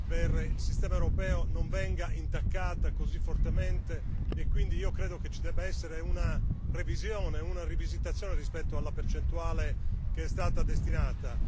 per il sistema europeo non venga intaccata così fortemente e quindi credo che ci debba essere una revisione, una rivisitazione rispetto alla percentuale che è stata destinata.